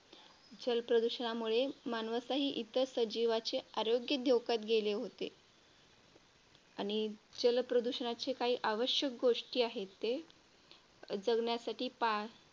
जलप्रदूषणामुळे मानवासह इतर सजीवांचे आरोग्य धोक्यात गेले होते. आणि जलप्रदूषणाचे काही आवश्यक गोष्टी आहेत ते जगण्यासाठी